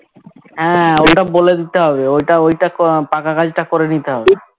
হ্যাঁ ওইটা বলে দিতে হবে ওইটা ওইটা ক আহ পাকা কাজ টা করে নিতে হবে